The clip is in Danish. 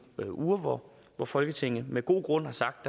uger hvor folketinget med god grund havde sagt